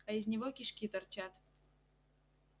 а из него кишки торчат